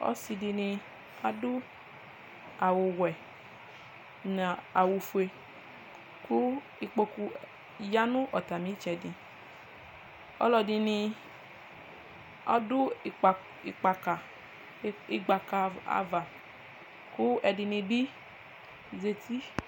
ɔse di ni ado awu wɛ n'awu fue kò ikpoku ya no atami itsɛdi aloɛdini do gbaka ava kò ɛdini bi zati